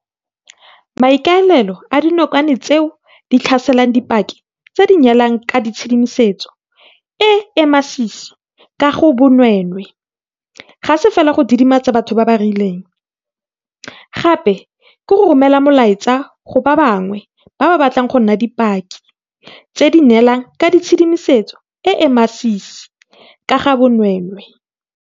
Maikaelelo a dinokwane tseo di tlhaselang di dipaki tse di neelang ka tshedimosetso e e masisi ka ga bonweenwee ga se fela go didimatsa batho ba ba rileng, gape ke go romela molaetsa go ba bangwe ba ba batlang go nna dipaki tse di neelang ka tshedimosetso e e masisi ka ga bonweenwee.